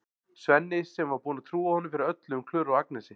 Svenni sem var búinn að trúa honum fyrir öllu um Klöru og Agnesi.